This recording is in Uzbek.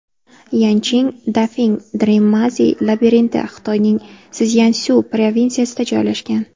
Yancheng Dafeng Dream Maze labirinti Xitoyning Szyansu provinsiyasida joylashgan.